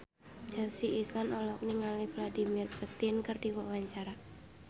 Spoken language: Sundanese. Chelsea Islan olohok ningali Vladimir Putin keur diwawancara